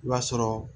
I b'a sɔrɔ